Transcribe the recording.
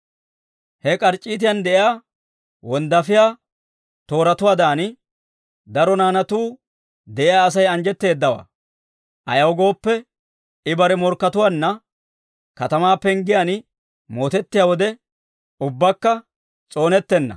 He k'arc'c'iitan de'iyaa wonddaafiyaa tooratuwaadan, daro naanatuu de'iyaa Asay anjjetteeddawaa. Ayaw gooppe, I bare morkkatuwaanna, katamaa penggiyaan mootettiyaa wode, ubbakka s'oonettenna.